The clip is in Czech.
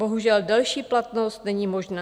Bohužel, delší platnost není možná.